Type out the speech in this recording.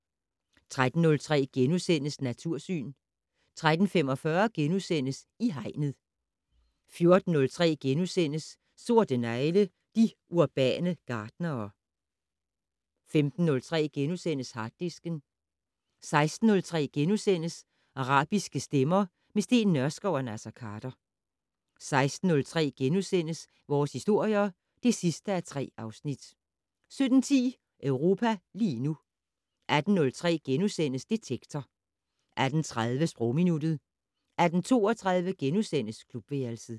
13:03: Natursyn * 13:45: I Hegnet * 14:03: Sorte negle: De urbane gartnere * 15:03: Harddisken * 16:03: Arabiske stemmer - med Steen Nørskov og Naser Khader * 16:30: Vores historier (3:3)* 17:10: Europa lige nu 18:03: Detektor * 18:30: Sprogminuttet 18:32: Klubværelset *